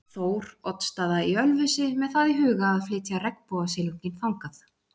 Þór- oddsstaða í Ölfusi með það í huga að flytja regnbogasilunginn þangað.